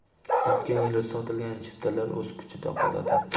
O‘tgan yili sotilgan chiptalar o‘z kuchida qoladi.